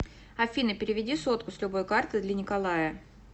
афина переведи сотку с любой карты для николая